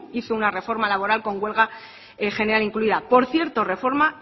hizo una reforma laboral con huelga general incluida por cierto reforma